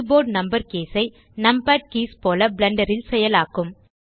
keyboard number keys ஐ numpad keys போல Blender ல் செயலாக்கும்